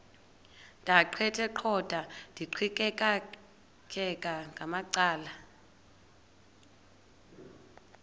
ndaqetheqotha ndiqikaqikeka ngamacala